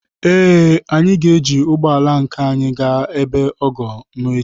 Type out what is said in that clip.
Ee, anyị ga-eji ụgbọ ala nke anyị gaa ebe ọgọ m echi.